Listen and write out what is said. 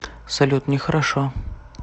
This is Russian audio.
салют не хорошо